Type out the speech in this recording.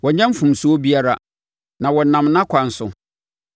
Wɔnnyɛ mfomsoɔ biara; na wɔnam nʼakwan so.